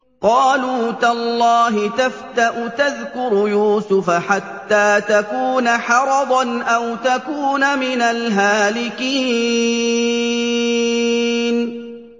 قَالُوا تَاللَّهِ تَفْتَأُ تَذْكُرُ يُوسُفَ حَتَّىٰ تَكُونَ حَرَضًا أَوْ تَكُونَ مِنَ الْهَالِكِينَ